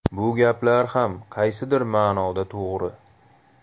Bu gaplar ham qaysidir ma’noda to‘g‘ri.